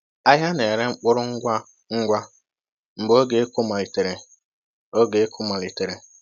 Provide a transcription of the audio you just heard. Ahịa na-ere mkpụrụ ngwa ngwa mgbe oge ịkụ malitere. oge ịkụ malitere.